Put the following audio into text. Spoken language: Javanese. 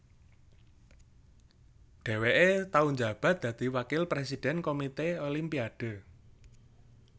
Dhèwèké tau njabat dadi Wakil Présidèn Komité Olimpiade